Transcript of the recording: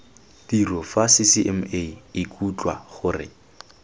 tiro fa ccma ikutlwa gore